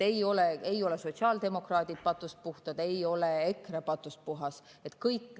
Ei ole sotsiaaldemokraadid patust puhtad, ei ole EKRE patust puhas.